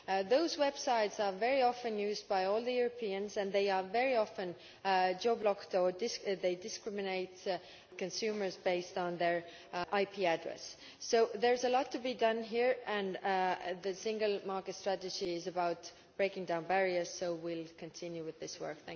Those websites are very often used by older Europeans and they are very often geo blocked or they discriminate among consumers based on their IP address. So there is a lot to be done here, and the single market strategy is about breaking down barriers, so we will continue with this work.